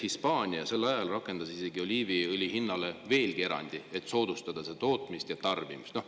Hispaania rakendas oliiviõli hinna suhtes veelgi erandit, et soodustada selle tootmist ja tarbimist.